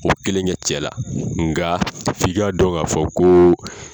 O kelen kɛ cɛ la, nka f'i ka dɔn ka fɔ kooo.